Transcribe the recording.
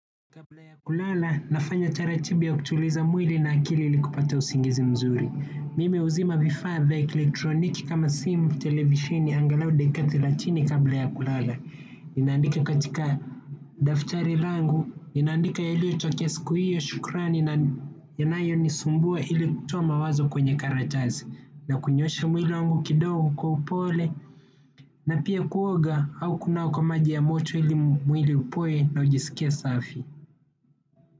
Kabla ya kulala, nafanya taratibi ya kutuliza mwili na akili ili kupata usingizi mzuri. Mimi huzima vifaa vya elektroniki kama simu, televisheni, angalau dakika thelathini kabla ya kulala. Ninaandika katika daftari langu, ninaandika yaliyotokea siku hiyo, shukrani, na yanayonisumbua ili kutoa mawazo kwenye karatasi. Na kunyoosha mwili wangu kidogo kwa upole, na pia kuoga au kunawa kwa maji ya moto ili mwili upoe na ujisikie safi.